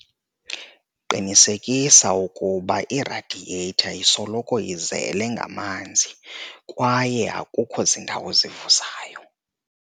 Qiniseka ukuba iradiyetha isoloko izele ngamanzi kwaye akukho zindawo zivuzayo.